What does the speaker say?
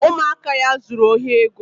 Ụmụaka ya zuru ohi ego